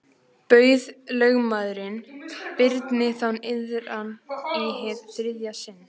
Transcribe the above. Bauð lögmaður Birni þá iðran í hið þriðja sinn.